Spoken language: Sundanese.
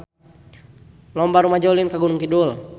Loba rumaja ulin ka Gunung Kidul